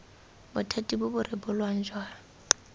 bothati bo bo rebolang jwa